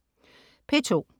P2: